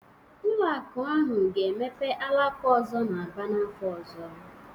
Ụlọ akụ ahụ ga-emepe alaka ọzọ n'Aba n'afọ ọzọ